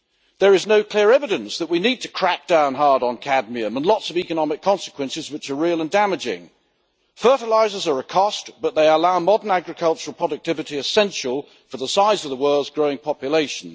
There is no clear evidence that we need to crack down hard on cadmium, and lots of economic consequences which are real and damaging. Fertilisers are a cost, but they allow modern agricultural productivity essential for the size of the world's growing population.